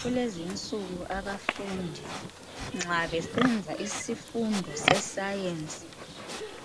Kulezinsuku abafundi nxa besenza isifundo eseScience.